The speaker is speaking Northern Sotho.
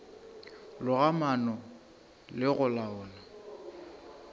loga maano le go laola